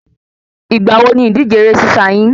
Ìgbà wo ni ìdíje ẹrẹ́ sísá yín?